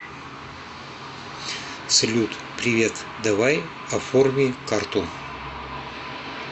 салют привет давай оформи карту